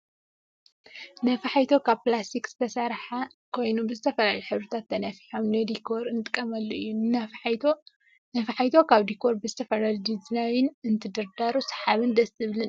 ነፋሒቶ ካብ ፕላስቲክ ዝተሰረሓ ኮይኑ ብዝተፈላለዩ ሕብርታት ተነፊሖም ንዲኮር እንጥቀመሉ እዩ። ነፋሒቶ ኣብ ዲኮር ብዝተፈላለዩ ዲዛይን እንትድርደሩ ሳሓቢን ደስ ዝብልን እዩ።